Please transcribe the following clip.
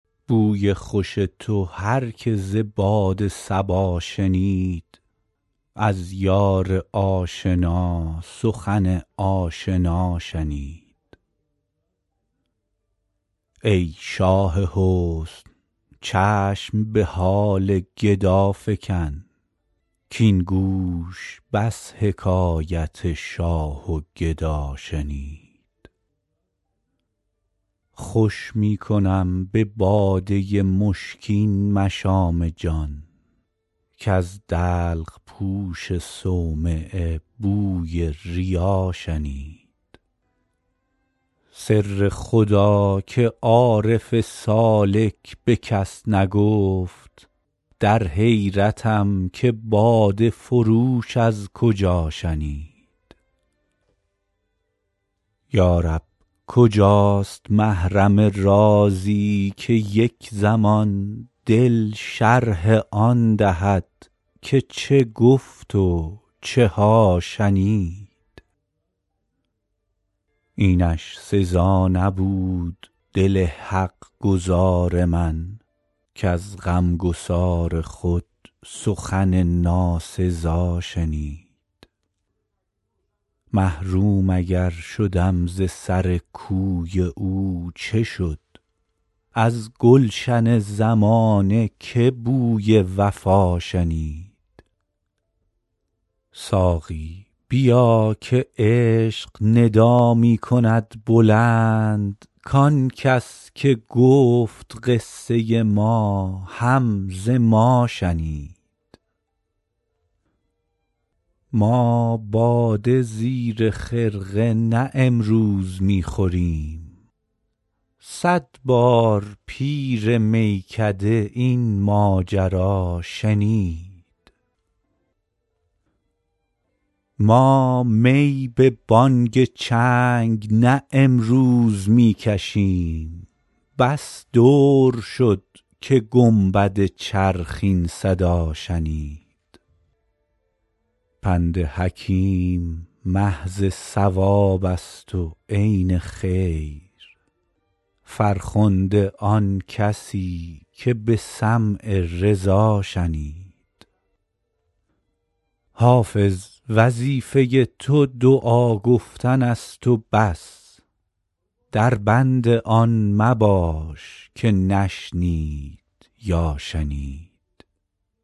بوی خوش تو هر که ز باد صبا شنید از یار آشنا سخن آشنا شنید ای شاه حسن چشم به حال گدا فکن کـاین گوش بس حکایت شاه و گدا شنید خوش می کنم به باده مشکین مشام جان کز دلق پوش صومعه بوی ریا شنید سر خدا که عارف سالک به کس نگفت در حیرتم که باده فروش از کجا شنید یا رب کجاست محرم رازی که یک زمان دل شرح آن دهد که چه گفت و چه ها شنید اینش سزا نبود دل حق گزار من کز غمگسار خود سخن ناسزا شنید محروم اگر شدم ز سر کوی او چه شد از گلشن زمانه که بوی وفا شنید ساقی بیا که عشق ندا می کند بلند کان کس که گفت قصه ما هم ز ما شنید ما باده زیر خرقه نه امروز می خوریم صد بار پیر میکده این ماجرا شنید ما می به بانگ چنگ نه امروز می کشیم بس دور شد که گنبد چرخ این صدا شنید پند حکیم محض صواب است و عین خیر فرخنده آن کسی که به سمع رضا شنید حافظ وظیفه تو دعا گفتن است و بس در بند آن مباش که نشنید یا شنید